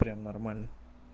прям нормально